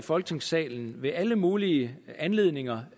i folketingssalen i alle mulige anledninger